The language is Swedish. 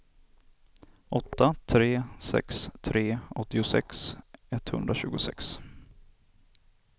åtta tre sex tre åttiosex etthundratjugosex